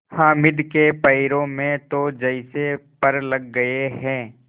हामिद के पैरों में तो जैसे पर लग गए हैं